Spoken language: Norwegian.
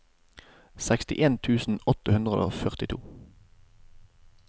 seksten tusen åtte hundre og førtito